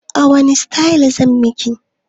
Wani sitayil zan miki?